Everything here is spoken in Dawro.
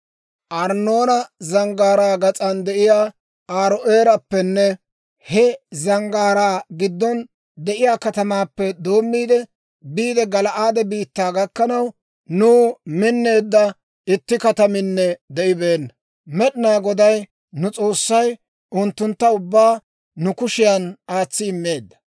«Arnnoona Zanggaaraa gas'an de'iyaa Aaro'eerappenne he zanggaaraa giddon de'iyaa katamaappe doommiide biide Gala'aade biittaa gakkanaw, nuw minneedda itti kataminne de'ibeenna. Med'inaa Goday nu S'oossay unttuntta ubbaa nu kushiyan aatsi immeedda.